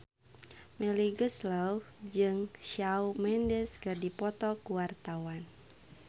Melly Goeslaw jeung Shawn Mendes keur dipoto ku wartawan